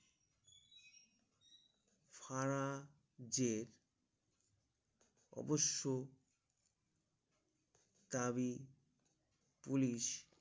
ফারাজে অবশ্য তাবী Police